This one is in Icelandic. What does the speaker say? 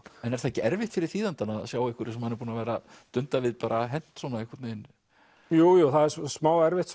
er það ekki erfitt fyrir þýðandann að sjá eitthvað sem hann er búinn að dunda við hent svona jú það er smá erfitt